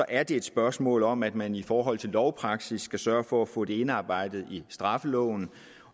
er det et spørgsmål om at man i forhold til lovpraksis skal sørge for at få det indarbejdet i straffeloven